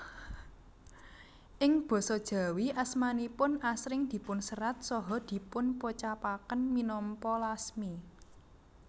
Ing Basa Jawi asmanipun asring dipunserat saha dipunpocapaken minangka Lasmi